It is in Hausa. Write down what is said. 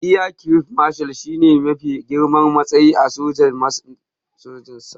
Air Chief Marshal shi ne mafi girman matsayi a sojojin saman Najeriya.